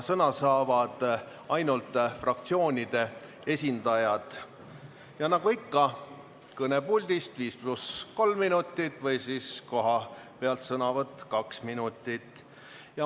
Sõna saavad ainult fraktsioonide esindajad, nagu ikka, kõnepuldist viis pluss kolm minutit või kohalt sõnavõtt kaks minutit.